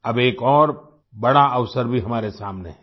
अब एक और बड़ा अवसर भी हमारे सामने है